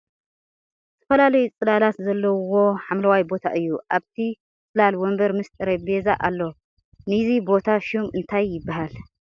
ዝተፈላለዩ ፅላላት ዘለዉዎ ሓምለዋይ ቦታ እዩ ። ኣብቲ ፅላል ወንበር ምስ ጠረጴዛ ኣሎ ። ንይዚ ቦታ ሹም እንታይ ይበሃል ?